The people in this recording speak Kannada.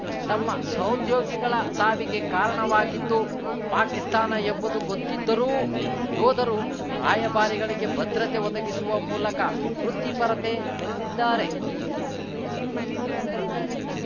ತಮ್ಮ ಸಹೋದ್ಯೋಗಿಗಳ ಸಾವಿಗೆ ಕಾರಣವಾಗಿದ್ದು ಪಾಕಿಸ್ತಾನ ಎಂಬುದು ಗೊತ್ತಿದ್ದರೂ ಯೋಧರು ರಾಯಭಾರಿಗಳಿಗೆ ಭದ್ರತೆ ಒದಗಿಸುವ ಮೂಲಕ ವೃತ್ತಿಪರತೆ ಮೆರೆದಿದ್ದಾರೆ